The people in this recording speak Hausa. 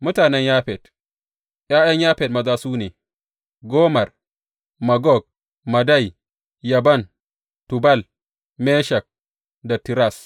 Mutanen Yafet ’Ya’yan Yafet maza su ne, Gomer, Magog, Madai, Yaban, Tubal, Meshek da Tiras.